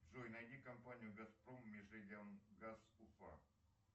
джой найди компанию газпром межрегионгаз уфа